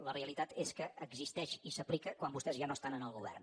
la realitat és que existeix i s’aplica quan vostès ja no estan en el govern